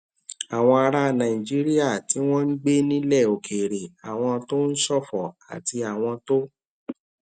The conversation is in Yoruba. àwọn ará nàìjíríà tí wọn ń gbé nílè òkèèrè àwọn tó ń ṣòfò àti àwọn tó